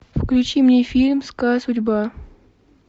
включи мне фильм злая судьба